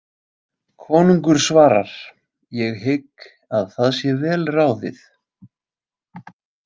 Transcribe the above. Konungur svarar: Ég hygg að það sé vel ráðið.